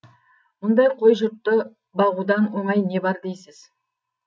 мұндай қой жұртты бағудан оңай не бар дейсіз